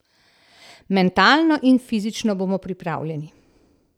Mentalno in fizično bomo pripravljeni.